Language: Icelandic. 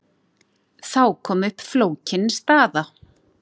Þá kom upp flókin staða.